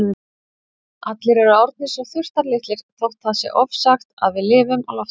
Allir eru orðnir svo þurftarlitlir þótt það sé ofsagt að við lifum á loftinu.